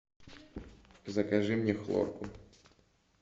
закажи мне хлорку